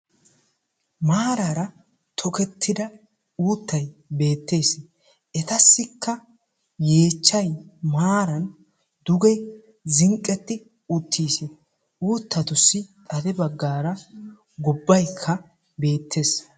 maarara tokkettida uuttay bettees; etassikka yeechchay maaran duge zinqqeti uttiis; uttatussi xade baggara ubbaykka bettees.